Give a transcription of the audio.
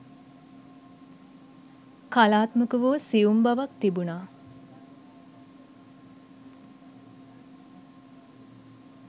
කලාත්මක වූ සියුම් බවක් තිබුණා